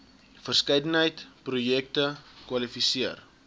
verskeidenheid projekte kwalifiseer